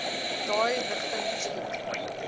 daai rigting geskiet